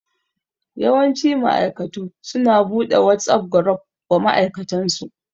Yawanci ma'aikatu su na buɗe WhatsApp gruf wa ma'aikatansu